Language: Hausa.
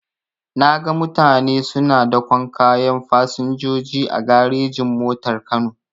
Naga mutane suna daƙon kayan fasinjoji a garejin-motar kano.